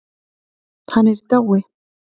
Hann er í dái.